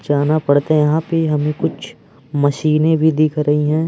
जाना पड़तें यहां पे हमें कुछ मशीनें भी दिख रही हैं।